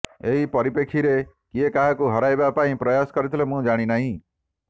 ଏପରିପେକ୍ଷୀରେ କିଏ କାହାକୁ ହରାଇବା ପାଇଁ ପ୍ରୟାସ କରିଥିଲେ ମୁଁ ଜାଣିନାହିଁ